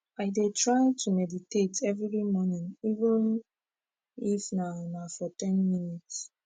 i dey try to meditate everi mornin even if na na for ten minutes